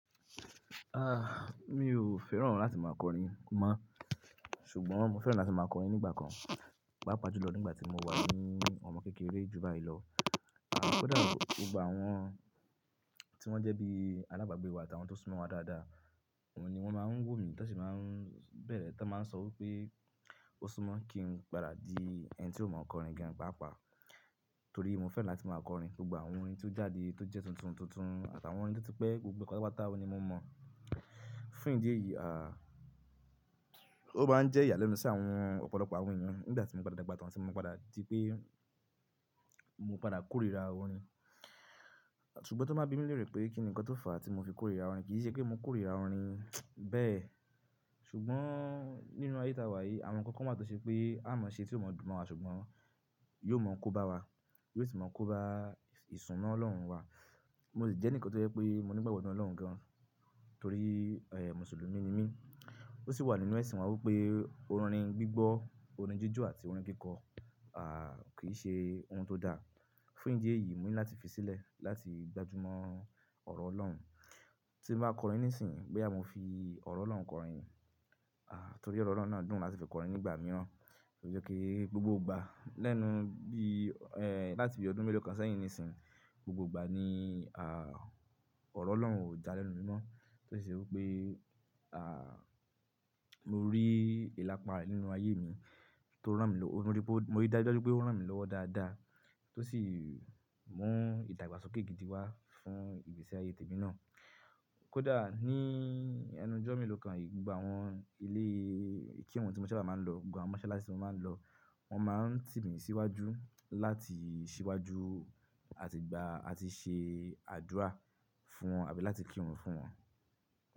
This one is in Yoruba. Ah, mi ò fẹ́ràn láti máa kọrin mọ́, ṣùgbọ́n mo fẹ́ràn láti máa kọrin nígbà kan, pápa jùlọ nígbà tí mo wà ní ọmọ kékeré ju báyìí lọ. Kódà gbogbo àwọn tí wọ́n jẹ́ bí alábàágbé wa àtàwọn tó súnmọ́ wa dáadáa, wọ́n ni wọ́n máa ń wo mí tó sì máa ń bẹ̀rẹ̀ tán, máa ń sọ wí pé ó súnmọ́ kí n padà di ẹni tí ó máa ń kọrin gan pàápàá. Torí mo fẹ́ràn láti máa kọrin gbogbo àwọn orin tí ó jáde tó jẹ́ tuntun tuntun àtàwọn orin tó ti pẹ́ gbogbo pátápátá ọ́un ni mo mọ̀. Fún ìdí èyí, ah, ó máa ń jẹ́ ìyàlẹ́nu sí àwọn ọ̀pọ̀lọpọ̀ àwọn èèyàn nígbà tí mo padà dagba tàn tí mo padà di pé mo padà kórira orin. Ṣùgbọ́n tó bá bími léèrè pé kí ni nǹkan tó fà á tí mo fi kórira orin, kì í ṣe pé mo kórira orin bẹ́ẹ̀. Ṣùgbọ́n nínú ayé táa wá yìí, àwọn kan kan wáa tó ṣe pé á mọ̀ọ́ṣé tí ó mọ̀ọ́dùn mowá ṣùgbọ́n yóò mọ̀ kó bá wa, yóò sì máa ń kóba ìsúnmo Ọlọ́run wa. Mo sì jẹ́ ẹnìkan tó jẹ́ pé mo nígbàgbọ́ nínú Ọlọ́run gan-an torí, ẹ́h, Mùsùlùmí ni mí. Ó sì wà nínú ẹ̀sìn wa wí pé orin gbígbọ́, orin jíjọ́ àti orin kíkọ, ah, kì í ṣe ohun tó da. Fún ìdí èyí, mo ní láti fi sílẹ̀ láti gbájú mọ́ ọ̀rọ̀ Ọlọ́run. Tí mo bá kọrin nísìnyí, gẹ́ boyà mo fi ọ̀rọ̀ Ọlọ́run kọrin, ah, torí ọ̀rọ̀ Ọlọ́run náà dùn láti fi kọrin nígbà mìíràn. Ó jẹ́ kí gbogbo ìgbà lẹ́nu bí, ẹ́h, láti bí ọdún mélòó kan sẹ́yìn nísìnyí, gbogbo ìgbà ni, ah, ọ̀rọ̀ Ọlọ́run ò já lẹ́nu mi mọ́. Tó sì ṣe wí pé, ah, mo rí ìláparí nínú ayé mi tó rán mi lọ́, mo rí dájudáju pé ó rán mi lọ́wọ́ dáadáa tó sì mú ìdàgbàsókè gidi wá fún ìgbésí ayé tèmi náà. Kódà ní ẹnu jọ́ mélòó kanyi, gbogbo àwọn ilé ìkirun tí mo sábà máa ń lọ, gbogbo àwọn mọ́ṣáláṣí tí mo máa ń lọ, wọ́n máa ń ti mí síwájú láti ṣíwájú àti gbà á ti ṣe àdúrà fún wọn àbí láti kírun fún wọn.